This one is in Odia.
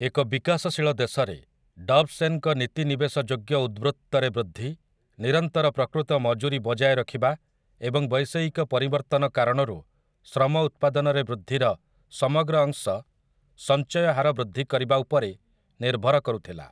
ଏକ ବିକାଶଶୀଳ ଦେଶରେ, ଡବ୍ ସେନ୍‌ଙ୍କ ନୀତି ନିବେଶ ଯୋଗ୍ୟ ଉଦ୍ୱୃତ୍ତରେ ବୃଦ୍ଧି, ନିରନ୍ତର ପ୍ରକୃତ ମଜୁରୀ ବଜାୟ ରଖିବା ଏବଂ ବୈଷୟିକ ପରିବର୍ତ୍ତନ କାରଣରୁ ଶ୍ରମ ଉତ୍ପାଦନରେ ବୃଦ୍ଧିର ସମଗ୍ର ଅଂଶ ସଞ୍ଚୟ ହାର ବୃଦ୍ଧି କରିବା ଉପରେ ନିର୍ଭର କରୁଥିଲା ।